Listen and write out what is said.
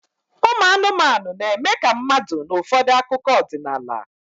Ụmụ anụmanụ na-eme ka mmadụ n'ụfọdụ akụkọ ọdịnala